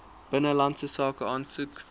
binnelandse sake aansoek